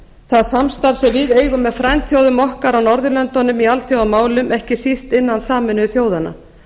það samstarf sem við eigum með frændþjóðum okkar á norðurlöndunum í alþjóðamálum ekki síst innan sameinuðu þjóðanna